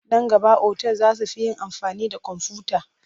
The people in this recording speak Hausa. Nan gaba otal za su fi yin da amfani da komfuta..